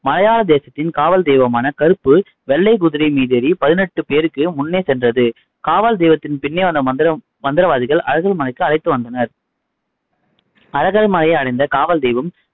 மலையாள தேசத்தின் காவல் தெய்வமான கருப்பு வெள்ளை குதிரை மீதேறி பதினெட்டு பேருக்கு முன்னே சென்றது. காவல் தெய்வத்தின் பின்னே வந்த மந்திரம் மந்திரவாதிகள் அழகர்மலைக்கு அழைத்துவந்தனர் அழகர் மலையை அடைந்த காவல் தெய்வம்,